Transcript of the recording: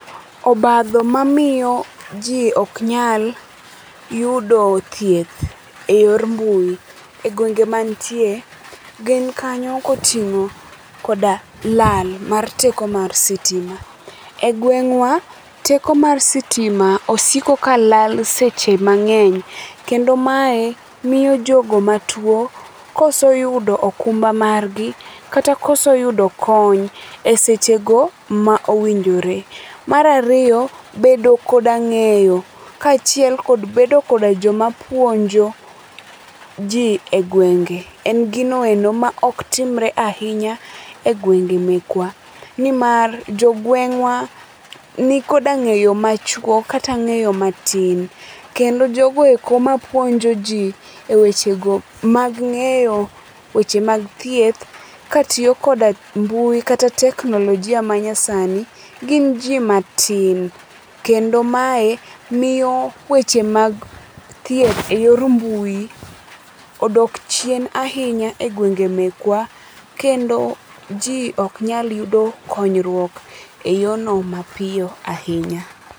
Obadho mamiyo jii ok nyal yudo thieth e yor mbui e gwenge ma antie gin kanyo koting'o koda lal mar teko mar sitima.E gweng'wa, teko mar sitima osiko ka lal seche mang'eny kendo mae miyo jogo matuo koso yudo okumba margi kata koso yudo kony e sechego ma owinjore. Mar ariyo, bedo koda ng'eyo kachiel koda bedo koda joma puonjo jii e gwenge en gino eno maok timre ahinya e gwenge mekwa nimar jo gweng'wa nimar jogwengwa nikod ng'eyo machuok kata niko angeyo matin kendo jogoeko mapuonjo jii e weche go mag ng'eyo, weche mag thieth katiyo koda mbui kata teknolojia manyasani gin jii matin kendo mae miyo weche mag theith e yor mbui odok chien ahinya e gwenge mekwa kendo jii ok nyal yudo konyruok e yono mapiyo ahinya